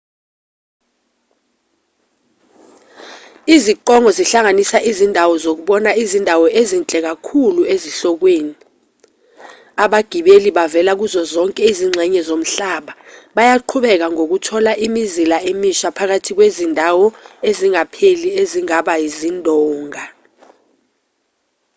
iziqongo zihlanganisa izindawo zokubona izindawo ezinhle kakhulu ezihlokweni abagibeli abavela kuzo zonke izingxenye zomhlaba bayaqhubeka ngokuthola imizila emisha phakathi kwezindawo ezingapheli ezingaba izindonga